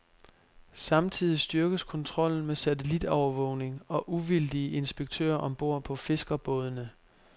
Samtidig styrkes kontrollen med satellitovervågning og uvildige inspektører om bord på fiskerbådene.